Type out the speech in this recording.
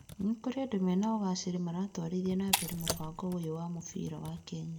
Nĩ kurĩ andũ mena ũgacĩri maratwarithia na mbere mũbango ũyũ wa mũbira wa Kenya.